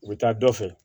U bɛ taa dɔ fɛ